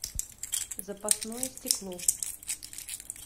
запасное стекло